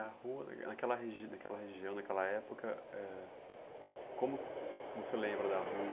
E a rua, naque naquela regi naquela região, naquela época, ãh como você lembra da rua?